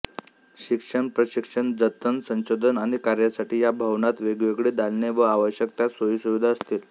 शिक्षण प्रशिक्षण जतन संशोधन आदि कार्यांसाठी या भवनात वेगवेगळी दालने व आवश्यक त्या सोयीसुविधा असतील